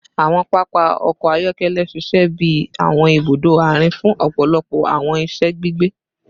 Awọn papa ọkọ ayọkẹlẹ ṣiṣẹ bi awọn ibudo aarin fun ọpọlọpọ awọn iṣẹ gbigbe